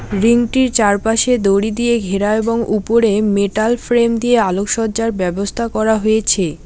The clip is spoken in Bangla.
রিং -টির চারপাশে দড়ি দিয়ে ঘেরা এবং উপরে মেটাল ফ্রেম দিয়ে আলোকসজ্জার ব্যবস্থা করা হয়েছে।